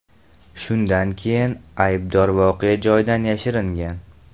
Shundan keyin aybdor voqea joyidan yashiringan.